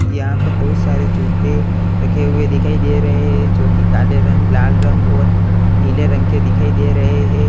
यहाँ पर बहुत सारे जूते रखे हुए दिखाई दे रहे है जो की काले रंग लाल रंग और नीले रंग के दिखाई दे रहे है।